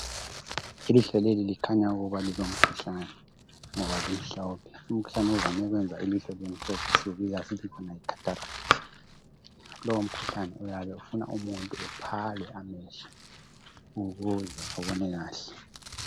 Ilihlo leli likhanya ukuthi lilomkhuhlane ngoba limhlophe. Umkhuhlane ovame ukwenza ilihlo libemhlophe siwubiza sithi yikhathalakithi. Lowo umkhuhlane uyabe ufuna imuntu aphale amehlo ukuze abone kahle.